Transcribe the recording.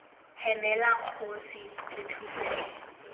hemela kgosi re thuse tlhe